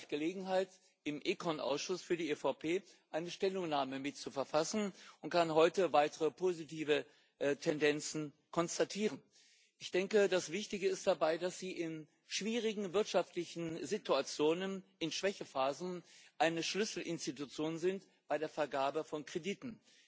Im Vorjahr hatte ich Gelegenheit, im ECON Ausschuss für die EVP eine Stellungnahme mitzuverfassen, und kann heute weitere positive Tendenzen konstatieren. Ich denke, das Wichtige dabei ist, dass Sie in schwierigen wirtschaftlichen Situationen, in Schwächephasen, eine Schlüsselinstitution sind bei der Vergabe von Krediten.